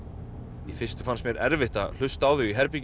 í fyrstu fannst mér erfitt að hlusta á þau í herberginu